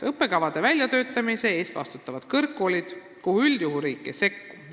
" Õppekavade väljatöötamise eest vastutavad kõrgkoolid ja riik sellesse üldjuhul ei sekku.